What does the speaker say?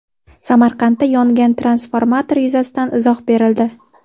Samarqandda yongan transformator yuzasidan izoh berildi.